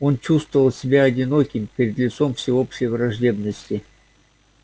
он чувствовал себя одиноким перед лицом всеобщей враждебности